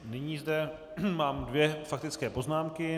Nyní zde mám dvě faktické poznámky.